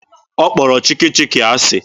Ọ kpọrọ Chikki Chikki asị.